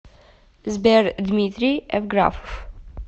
сбер дмитрий эвграфов